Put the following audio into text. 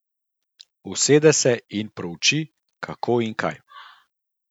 Usede se in prouči, kako in kaj.